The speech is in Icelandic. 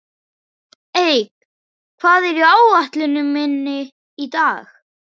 Eik, hvað er á áætluninni minni í dag?